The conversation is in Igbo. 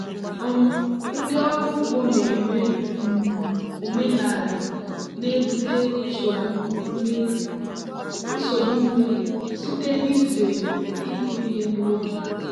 um ndị ọrụ ugbo na-eme um omenala na-ebute nsogbu mmiri site n'izere ịkụ ihe n'oge.